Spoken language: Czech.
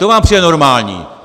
To vám přijde normální!